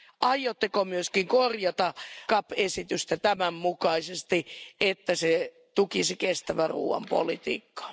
Aiotteko myös korjata YMP esitystä tämän mukaisesti, niin että se tukisi kestävän ruoan politiikkaa?